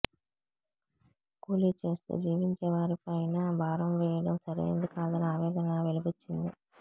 కూలీ చేస్తూ జీవించే వారిపైనా భారం వేయడం సరైంది కాదని ఆవేదన వెలిబుచ్చింది